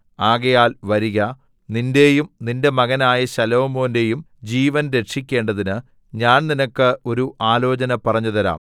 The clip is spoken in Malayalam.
ആകയാൽ വരിക നിന്റെയും നിന്റെ മകനായ ശലോമോന്റെയും ജീവൻ രക്ഷിക്കേണ്ടതിന് ഞാൻ നിനക്ക് ഒരു ആലോചന പറഞ്ഞുതരാം